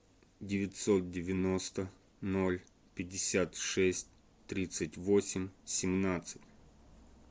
девятьсот девяносто ноль пятьдесят шесть тридцать восемь семнадцать